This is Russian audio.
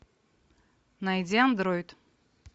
найди андроид